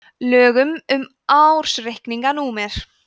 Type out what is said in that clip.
lögum um ársreikninga númer